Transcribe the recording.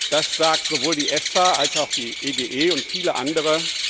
Das sagt sowohl die EFSA als auch die EGE und viele andere.